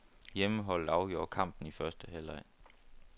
Hjemmeholdet afgjorde kampen i første halvleg.